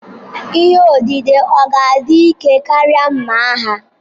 Ihe odide ọ̀ ga-adị ike karịa mma agha?